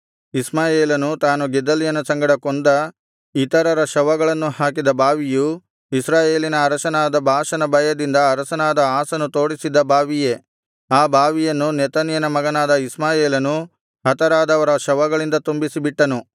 ಇಷ್ಮಾಯೇಲನು ತಾನು ಗೆದಲ್ಯನ ಸಂಗಡ ಕೊಂದ ಇತರರ ಶವಗಳನ್ನು ಹಾಕಿದ ಬಾವಿಯು ಇಸ್ರಾಯೇಲಿನ ಅರಸನಾದ ಬಾಷನ ಭಯದಿಂದ ಅರಸನಾದ ಆಸನು ತೋಡಿಸಿದ್ದ ಬಾವಿಯೇ ಆ ಬಾವಿಯನ್ನು ನೆತನ್ಯನ ಮಗನಾದ ಇಷ್ಮಾಯೇಲನು ಹತರಾದವರ ಶವಗಳಿಂದ ತುಂಬಿಸಿಬಿಟ್ಟನು